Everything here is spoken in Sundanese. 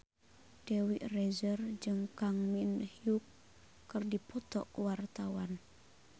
Dewi Rezer jeung Kang Min Hyuk keur dipoto ku wartawan